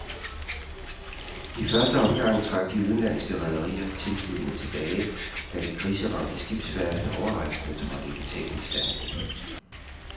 I første omgang trak de udenlandske rederier tilbudene tilbage, da det kriseramte skibsværft overraskende trådte i betalingsstandsning.